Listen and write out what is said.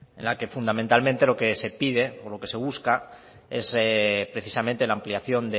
en la que fundamentalmente lo que se pide o lo que se busca es precisamente la ampliación